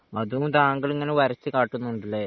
അതും താങ്കൾ ഇങ്ങനെ വരച്ചു കാട്ടുന്നുണ്ടല്ലേ